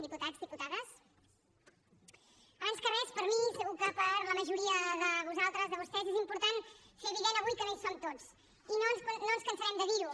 diputats diputades abans que res per mi i segur que per a la majoria de vosaltres de vostès és important fer evident avui que no hi som tots i no ens cansarem de dir ho